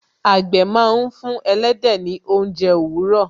àgbẹ̀ máa ń fún ẹlẹ́dẹ̀ ní ounje òwúrọ̀